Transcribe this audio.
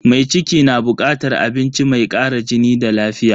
Mai ciki na bukatar abinci mai kara jini da lafiya.